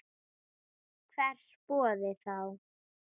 Hvers borði þá?